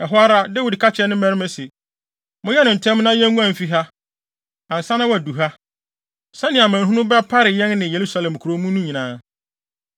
Ɛhɔ ara, Dawid ka kyerɛɛ ne mmarima se, “Monyɛ no ntɛm na yenguan mfi ha, ansa na wadu ha, sɛnea amanehunu bɛpare yɛn ne Yerusalem kurow mu no nyinaa.”